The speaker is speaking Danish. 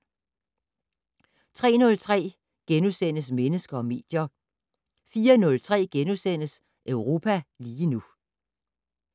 03:03: Mennesker og medier * 04:03: Europa lige nu *